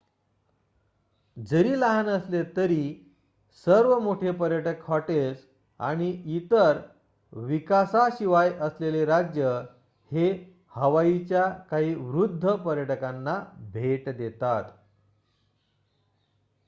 जरी लहान असले तरी सर्व मोठे पर्यटक हॉटेल्स आणि इतर विकासाशिवाय असलेले राज्य हे हवाईच्या काही वृद्ध पर्यटकांना भेट देतात